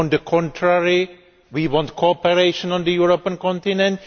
On the contrary, we want cooperation on the European continent.